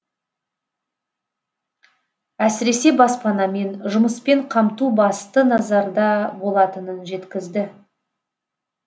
әсіресе баспанамен жұмыспен қамту басты назарда болатынын жеткізді